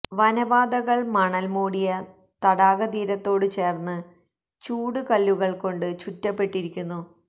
വന പാതകൾ മണൽ മൂടിയ തടാകതീരത്തോട് ചേർന്ന് ചൂട് കല്ലുകൾകൊണ്ട് ചുറ്റപ്പെട്ടിരിക്കുന്നു